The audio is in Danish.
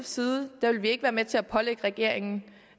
side vil vi ikke være med til at pålægge regeringen